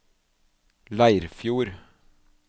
Leirfjord